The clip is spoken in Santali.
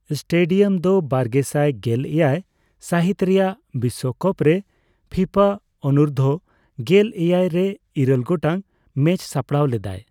ᱮᱥᱴᱮᱰᱤᱭᱟᱢ ᱫᱚ ᱵᱟᱨᱜᱮᱥᱟᱭ ᱜᱮᱞ ᱮᱭᱟᱭ ᱥᱟᱹᱦᱤᱛ ᱨᱮᱭᱟᱜ ᱵᱤᱥᱥᱚᱠᱟᱯ ᱨᱮ ᱯᱷᱤᱯᱷᱟ ᱚᱱᱩᱨᱫᱷᱚᱼᱜᱮᱞ ᱮᱭᱟᱭ ᱨᱮ ᱤᱨᱟᱹᱞ ᱜᱚᱴᱟᱝ ᱢᱮᱪ ᱥᱟᱯᱲᱟᱣ ᱞᱮᱫᱟᱭ ᱾